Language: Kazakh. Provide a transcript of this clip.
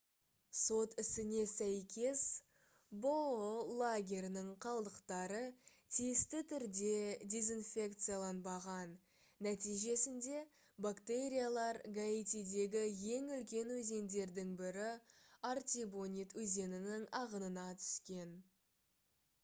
сот ісіне сәйкес бұұ лагерінің қалдықтары тиісті түрде дезинфекцияланбаған нәтижесінде бактериялар гаитидегі ең үлкен өзендердің бірі артибонит өзенінің ағынына түскен